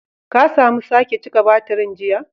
Ka samu sake cika batirin jiya?